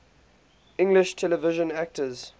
english television actors